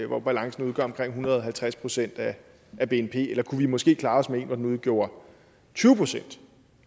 hvor balancen udgør omkring en hundrede og halvtreds procent af bnp eller kunne vi måske klare os med en hvor den udgjorde tyve procent